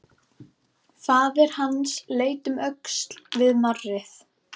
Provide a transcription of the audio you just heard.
Faðir hans leit um öxl við marrið.